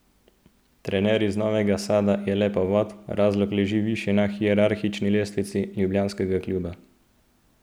Trener iz Novega Sada je le povod, razlog leži višje na hierarhični lestvici ljubljanskega kluba.